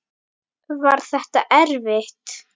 Var þetta erfitt?